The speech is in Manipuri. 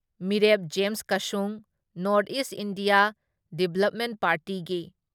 ꯃꯤꯔꯦꯞ ꯖꯦꯝꯁ ꯀꯁꯨꯡ, ꯅꯣꯔꯠ ꯏꯁ ꯏꯟꯗꯤꯌꯥ ꯗꯤꯕ꯭ꯂꯞꯃꯦꯟꯠ ꯄꯥꯔꯇꯤꯒꯤ